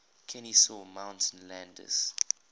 kenesaw mountain landis